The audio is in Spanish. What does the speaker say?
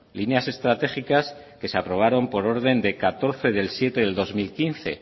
líneas estratégicas que se aprobaron por orden de catorce de julio del dos mil quince